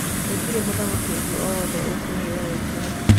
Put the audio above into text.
Gũtirĩ mũthaki ũngĩ o wothe ũkũheyo e-kĩre.